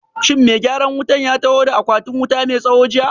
Shin mai gyaran wutan ya taho da akwatin wuta mai tsawo jiya?